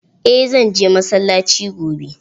Eh zan je masallaci gobe.